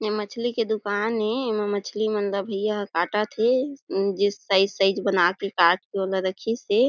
ए मछली के दुकान ए ऐमा मछली मन ला भईया ह काटत हे जिस साइज साइज बना के काट के वो ला रखिस हे।